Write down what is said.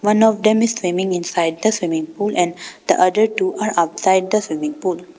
One of them are swimming inside the swimming pool and the other two are outside the swimming pool.